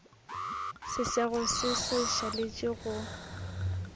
sesego se sa šaletše go